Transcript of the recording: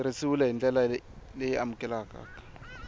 tirhisiwile hi ndlela y amukeleka